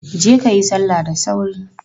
Je kayi salla da sauri!